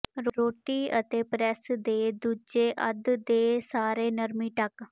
ਰੋਟੀ ਅਤੇ ਪ੍ਰੈਸ ਦੇ ਦੂਜੇ ਅੱਧ ਦੇ ਸਾਰੇ ਨਰਮੀ ਢਕ